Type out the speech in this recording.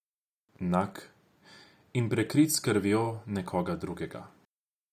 Nag in prekrit s krvjo nekoga drugega.